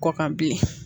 Kɔkan bilen